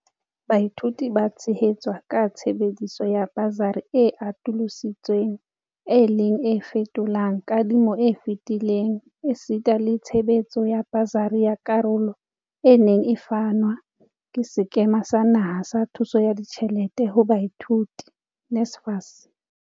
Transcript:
Baithuti ba tshehetswa ka tshebediso ya basari e atolosi tsweng e leng e fetolang kadi mo e fetileng esita le tshebetso ya basari ya karolo e neng e fanwa ke Sekema sa Naha sa Thuso ya Ditjhelete ho Baithuti NSFAS.